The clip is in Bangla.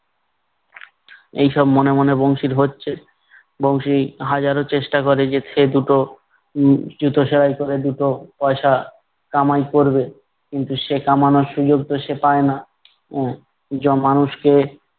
এইসব মনে মনে বংশীর হচ্ছে, বংশী হাজারো চেষ্টা ক'রে যে সেদুটো উম জুতো সেলাই করে দুটো পয়সা কামাই করবে। কিন্তু সে কামানোর সুযোগ তো সে পায় না, এর যা মানুষকে